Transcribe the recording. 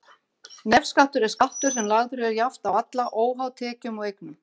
Nefskattur er skattur sem lagður er jafnt á alla, óháð tekjum og eignum.